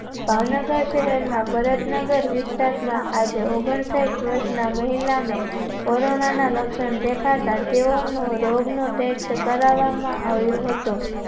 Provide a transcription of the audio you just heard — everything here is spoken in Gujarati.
ભાવનગર શહેર ના ભરત નગર વિસ્તારમાં આજેઓગનસહીઠ વર્ષના મહિલાને corona ના લક્ષણ દેખાતા તેઓનો રોગનો Test કરાવવામાં આવ્યો હતો